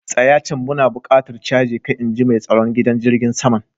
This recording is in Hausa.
Tsaya can! muna buƙatan caje ka, In ji mai tsaron gidan jirigin saman.